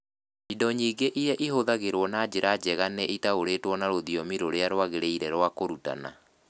Indo nyingĩ iria ihũthagĩrũo na njĩra njega nĩ itaũrĩtwo na rũthiomi rũrĩa rwagĩrĩire rwa kũrutana.